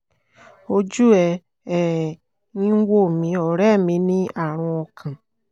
ojú ẹ̀ um ń wò mí ọ̀rẹ́ mi ní àrùn ọkàn